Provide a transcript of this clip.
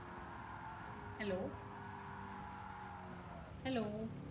hello hello